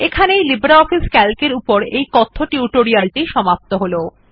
এখানেই LibreOffice C A L C এর এই কথ্য টিউটোরিয়াল টি সমাপ্ত হল